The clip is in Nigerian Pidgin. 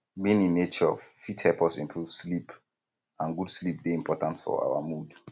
being in nature fit help us improve sleep and good sleep dey important for our mood